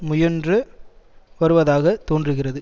முயன்று வருவதாக தோன்றுகிறது